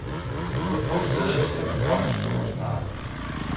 Kun få steder ser man folk stå og snakke.